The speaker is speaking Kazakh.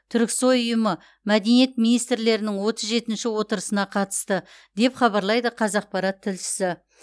түрксой ұйымы мәдениет министрлерінің отыз жетінші отырысына қатысты деп хабарлайды қазақпарат тілшісі